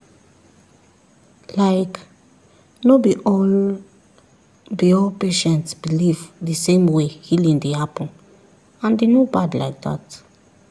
like no be all be all patients believe the same way healing dey happen and e no bad like that